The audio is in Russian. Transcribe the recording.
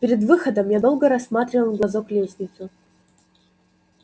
перед выходом я долго рассматривал в глазок лестницу